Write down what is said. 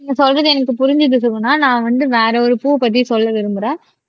நீங்க சொல்றது எனக்கு புரிஞ்சுது சுகுணா நான் வந்து வேற ஒரு பூ பத்தி சொல்ல விரும்புறேன்